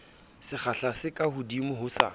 sekgahla se kahodimo ho sa